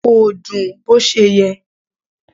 Kò dùn bó ṣe yẹ.